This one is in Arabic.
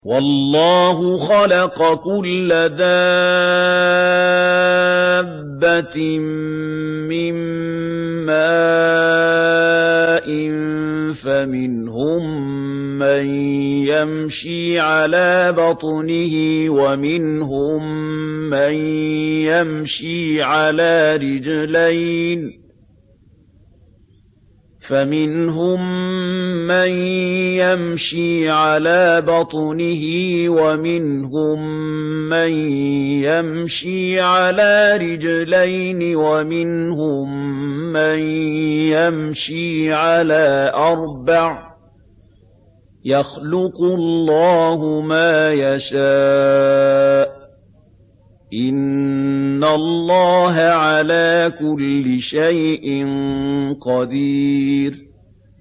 وَاللَّهُ خَلَقَ كُلَّ دَابَّةٍ مِّن مَّاءٍ ۖ فَمِنْهُم مَّن يَمْشِي عَلَىٰ بَطْنِهِ وَمِنْهُم مَّن يَمْشِي عَلَىٰ رِجْلَيْنِ وَمِنْهُم مَّن يَمْشِي عَلَىٰ أَرْبَعٍ ۚ يَخْلُقُ اللَّهُ مَا يَشَاءُ ۚ إِنَّ اللَّهَ عَلَىٰ كُلِّ شَيْءٍ قَدِيرٌ